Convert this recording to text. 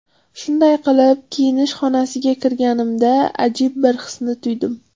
Shunday qilib kiyinish xonasiga kirganimda ajib bir hisni tuydim.